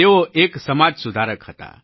તેઓ એક સમાજ સુધારક હતા